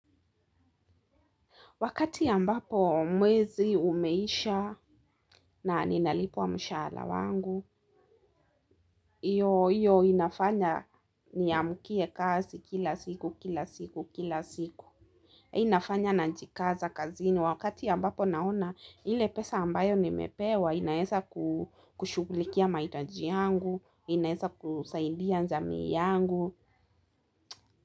Wakati ambapo mwezi umeisha na ninalipwa mshaala wangu, iyo inafanya ni amukie kazi kila siku, kila siku, kila siku. Inafanya najikaza, kazini. Wakati ambapo naona ile pesa ambayo nimepewa, inaeza kushughulikia maitaji yangu, inaeza kusaidia nzamii yangu.